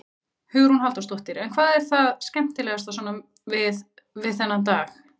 Hugrún Halldórsdóttir: En hvað er það skemmtilegasta svona við, við þennan dag?